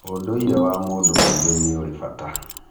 Ũndũire wa mũndũ mũirũ nĩũrĩ bata